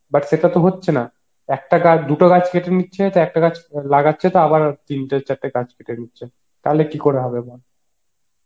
একটা গাছ দুটো গাছ কেটে নিচ্ছে তো একটা গাছে লাগাচ্ছে তো আবার তিনটে চারটে গাছ কেটে নিচ্ছে তাহলে কি করে হবে বল